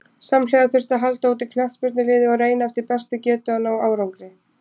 Samhliða þurfti að halda úti knattspyrnuliði og reyna eftir bestu getu að ná árangri.